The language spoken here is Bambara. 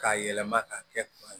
K'a yɛlɛma ka kɛ